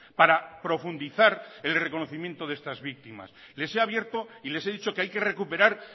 para profundizar el reconocimiento de estas víctimas les he abierto y les he dicho que hay que recuperar